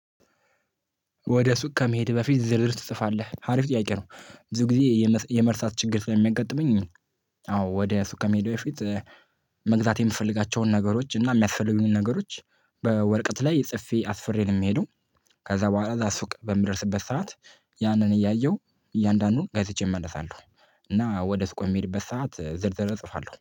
ወደ ሱቅ ከመሄድ በፊት ዝርዝር ትጽፋለህ አሪፍ ጥያቄ ነው? ብዙ ጊዜ የመርሳት ችግር ስለሚያጋጥመኝ። አዎ ወደ ሱቅ ከመሄዴበፊት። መግዛት የምፈልጋቸውን ነገሮች እና የሚያስፈልጉኝን ነገሮች በወርቀት ላይ ጽፌ አስፍሬ ነው የሚሄደው። ከዛ በኋላ እዛ ሱቅ በምደርስበት ሰዓት። ያንን እያየሁ እያንዳንዱን ገዝቼ እመለሳለሁ። እና ወደ ሱቅ የሚሄድበት ሰዓት ዝርዝር እጽፋለሁ